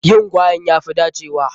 Yin gwaen ya fi dacewa.